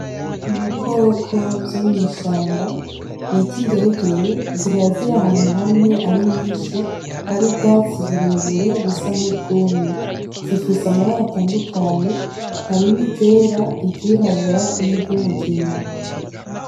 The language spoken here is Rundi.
Ibikoko vyo mw'ishamba bita ingeregere, zikaba ziri ahantu hamwe ari nyinshi hari ubwatsi burebure busa nk'ubwumye, zifise amabara atandukanye harimwo iryera, iry'irabura niry'umugina.